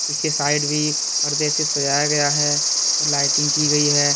पीछे साइड भी परदे से सजाया गया है और लाइटिंग की गई है।